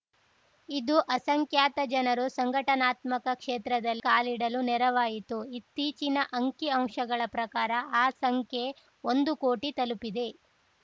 ಇದು ಅಸಂಖ್ಯಾತ ಜನರು ಸಂಘಟನಾತ್ಮಕ ಕ್ಷೇತ್ರದಲ್ಲಿ ಕಾಲಿಡಲು ನೆರವಾಯಿತು ಇತ್ತೀಚಿನ ಅಂಕಿಅಂಶಗಳ ಪ್ರಕಾರ ಆ ಸಂಖ್ಯೆ ಒಂದು ಕೋಟಿ ತಲುಪಿದೆ